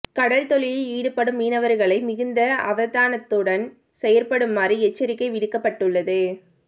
கடல் தொழிலில் ஈடுபடும் மீனவர்களை மிகுந்த அவதானத்துடன் செயற்படுமாறு எச்சரிக்கை விடுக்கப்பட்டுள்ளது